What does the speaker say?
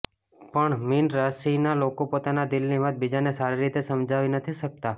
પણ મીન રાશિના લોકો પોતાના દિલની વાત બીજાને સારી રીતે સમજાવી નથી શકતા